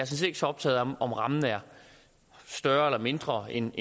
set ikke så optaget af om rammen er større eller mindre end